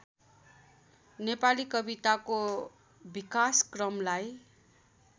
नेपाली कविताको विकासक्रमलाई